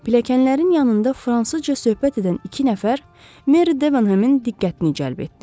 Pilləkənlərin yanında fransızca söhbət edən iki nəfər Meri Debenhamın diqqətini cəlb etdi.